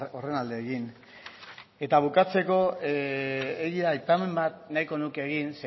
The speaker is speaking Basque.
horren alde egin eta bukatzeko aipamen bat nahiko nuke egin